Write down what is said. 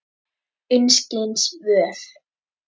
Einskis völ.